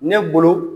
Ne bolo